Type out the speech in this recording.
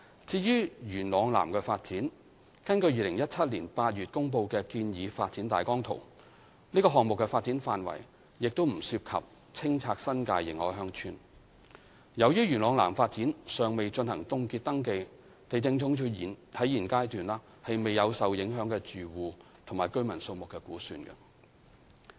至於元朗南發展，根據2017年8月公布的建議發展大綱圖，該項目的發展範圍亦不涉及清拆新界認可鄉村。由於元朗南發展尚未進行凍結登記，地政總署現階段未有受影響的住戶及居民數目估算。